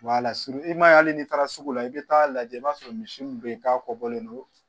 i ma ye hali n'i taara sugu la i bɛ taa lajɛ i b'a sɔrɔ misi min bɛ yen k'a kɔkɔbɔlen don